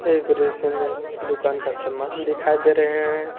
एक रेशियों में दुकान का सामान दिखाई दे रहे हैं।